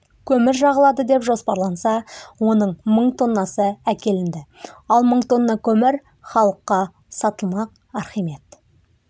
көмір жағылады деп жоспарланса оның мың тоннасы әкелінді ал мың тонна көмір халыққа сатылмақ архимед